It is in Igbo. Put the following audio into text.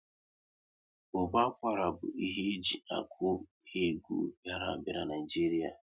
Ụbọ akwara bụ ihe eji akụ egwu bịara a bịa n'Naijiria